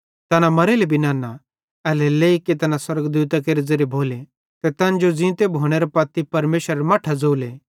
तैना मरेले भी नन्ना एल्हेरेलेइ की तैना स्वर्गदूतां केरे ज़ेरे भोले ते तैन जो ज़ींते भोनेरां ते परमेशरेरां मट्ठां ज़ोले